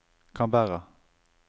Canberra